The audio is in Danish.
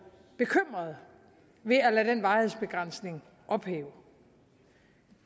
bekymret ved at lade den varighedsbegrænsning ophæve